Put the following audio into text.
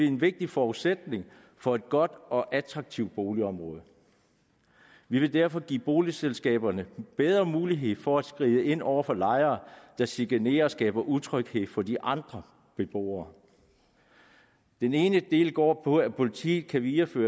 en vigtig forudsætning for et godt og attraktivt boligområde vi vil derfor give boligselskaberne bedre mulighed for at skride ind over for lejere der chikanerer og skaber utryghed for de andre beboere den ene del går på at politiet kan videregive